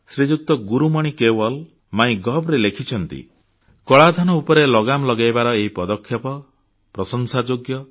ଶ୍ରୀଯୁକ୍ତ ଗୁରୁମଣି କେୱଲ୍ MyGovରେ ଲେଖିଛନ୍ତି କଳାଧନ ଉପରେ ଲଗାମ ଲଗାଇବାର ଏହି ପଦକ୍ଷେପ ବିଶ୍ୱାସଯୋଗ୍ୟ